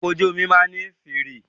Ọkọ̀ ojú omi máà ní fèèrè.